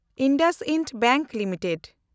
IndusInd bank limited